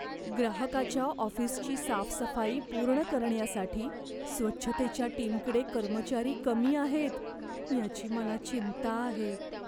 ग्राहकाच्या ऑफिसची साफसफाई पूर्ण करण्यासाठी स्वच्छतेच्या टीमकडे कर्मचारी कमी आहेत याची मला चिंता आहे.